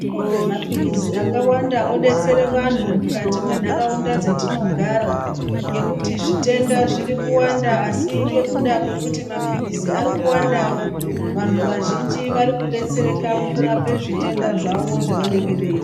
Mapirizi akawanda odotsere vantu mukati mendaraunda dzatinogara ngekuti zvitenda zviriwanda asi ngekuda kwekuti mapirizi arikuwandawo vantu vazhinji varikudetsereka mukurapa zvitenda zvavo zvevanenge veizwa.